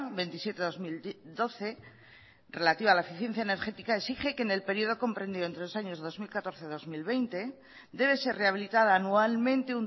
veintisiete barra dos mil doce relativa a la eficiencia energética exige que en el periodo comprendido entre los años dos mil catorce dos mil veinte debe ser rehabilitada anualmente